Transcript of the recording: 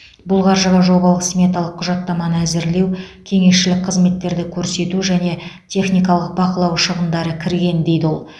бұл қаржыға жобалық сметалық құжаттаманы әзірлеу кеңесшілік қызметтерді көрсету және техникалық бақылау шығындары кірген дейді ол